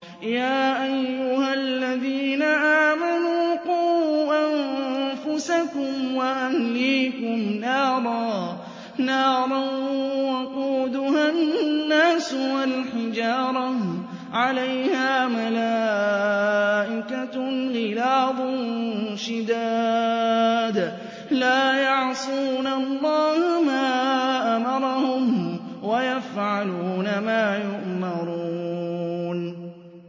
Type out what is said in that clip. يَا أَيُّهَا الَّذِينَ آمَنُوا قُوا أَنفُسَكُمْ وَأَهْلِيكُمْ نَارًا وَقُودُهَا النَّاسُ وَالْحِجَارَةُ عَلَيْهَا مَلَائِكَةٌ غِلَاظٌ شِدَادٌ لَّا يَعْصُونَ اللَّهَ مَا أَمَرَهُمْ وَيَفْعَلُونَ مَا يُؤْمَرُونَ